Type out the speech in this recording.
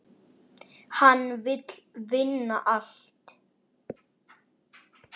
Hann vill vinna allt.